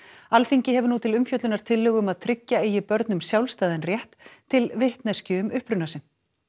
Alþingi hefur nú til umfjöllunar tillögu um að tryggja eigi börnum sjálfstæðan rétt til vitneskju um uppruna sinn